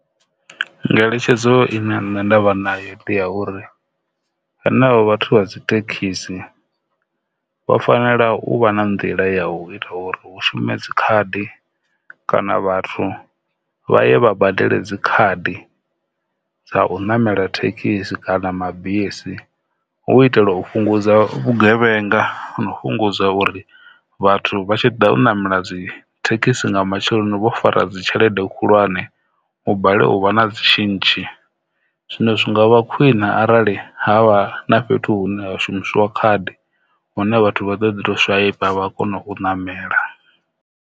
Ngeletshedzo ine vha vha nayo ndi ya uri hanevho vhathu vha dzithekhisi vha fanela u vha na nḓila ya u ita uri hu shume dzikhadi kana vhathu vha ye vha badele dzikhadi dza u namela dzi thekhisi kana mabisi, hu itela u fhungudza vhugevhenga na u fhungudza uri vhathu vha tshi ḓa u namela dzi thekhisi nga matsheloni vho fara dzi tshelede khulwane u balelwa u vha na dzi tshintshi zwino zwi nga vha khwine arali ha vha na fhethu hune ha shumisiwa khadi hune vhathu vha ḓo ḓi tou swaipa vha kona u namela.